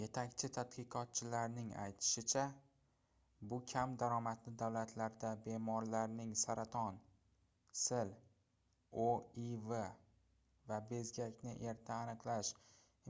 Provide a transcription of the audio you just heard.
yetakchi tadqiqotchilarning aytishicha bu kam daromadli davlatlarda bemorlarning saraton sil oiv va bezgakni erta aniqlash